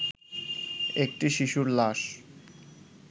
একটি শিশুর লাশ